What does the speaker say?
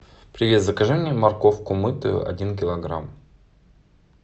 привет закажи мне морковку мытую один килограмм